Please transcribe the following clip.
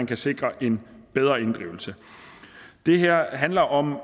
kan sikre en bedre inddrivelse det her handler om